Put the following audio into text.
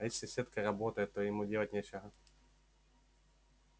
а если сетка работает то ему делать нечего